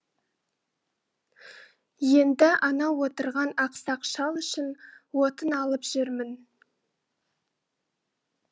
енді анау отырған ақсақ шал үшін отын алып жүрмін